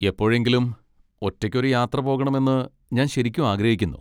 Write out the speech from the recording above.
എപ്പോഴെങ്കിലും ഒറ്റയ്ക്ക് ഒരു യാത്ര പോകണമെന്ന് ഞാൻ ശരിക്കും ആഗ്രഹിക്കുന്നു.